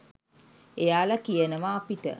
එයාල කියනව අපිට